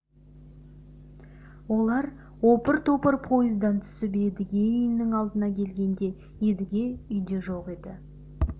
олар опыр-топыр пойыздан түсіп едіге үйінің алдына келгенде едіге үйде жоқ еді